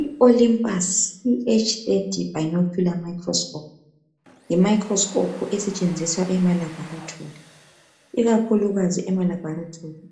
I Olympus iH @ bionecular microscope. Yimicroscope esetshenziswa emalaboratory. Ikakhulukazi emaLaboratory